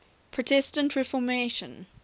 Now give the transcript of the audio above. protestant reformation